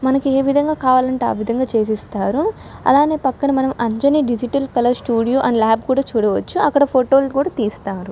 మనకి ఏ విధంగా కావాలంటే ఆ విధంగా చేపిస్తారు. అలానే పక్కన మనం Anjani digital colour studio and lab కుడా చూడవచ్చును ఫోటోలు కూడా తీస్తారు.